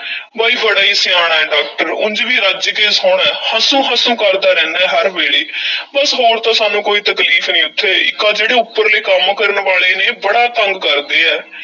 ਬਈ ਬੜਾ ਈ ਸਿਆਣਾ ਏ doctor ਉਂਜ ਵੀ ਰੱਜ ਕੇ ਸੋਹਣਾ ਏ, ਹਸੂੰ-ਹਸੂੰ ਕਰਦਾ ਰਹਿੰਦਾ ਏ ਹਰ ਵੇਲ਼ੇ ਬੱਸ ਹੋਰ ਤਾਂ ਸਾਨੂੰ ਕੋਈ ਤਕਲੀਫ਼ ਨਹੀਂ ਉੱਥੇ, ਇੱਕ ਆਹ ਜਿਹੜੇ ਉੱਪਰਲੇ ਕੰਮ ਕਰਨ ਵਾਲੇ ਨੇ ਬੜਾ ਤੰਗ ਕਰਦੇ ਐ।